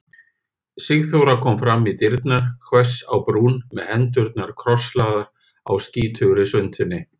Sigþóra kom fram í dyrnar hvöss á brún með hendurnar krosslagðar á skítugri svuntunni.